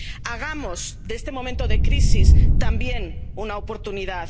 Hagamos de este momento de crisis también una oportunidad.